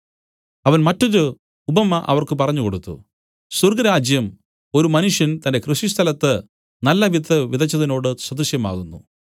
അവൻ മറ്റൊരു ഉപമ അവർക്ക് പറഞ്ഞു കൊടുത്തു സ്വർഗ്ഗരാജ്യം ഒരു മനുഷ്യൻ തന്റെ കൃഷിസ്ഥലത്ത് നല്ലവിത്ത് വിതച്ചതിനോട് സദൃശമാകുന്നു